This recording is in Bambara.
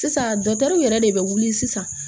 Sisan yɛrɛ de bɛ wuli sisan